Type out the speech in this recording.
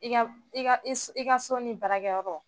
I ka i ka so ni barakɛyɔrɔ